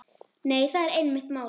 Nei, það er einmitt málið.